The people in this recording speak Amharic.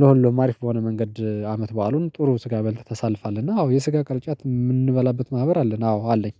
ለሁሉም አሪፍ በሆነ መንገድ አመት በዓሉን ጥሩ ስጋ በልተህ ታሳልፋለህ እና አዎ የስጋ ቅርጫት የምንበላበት ማህበር አለን። አዎ አለኝ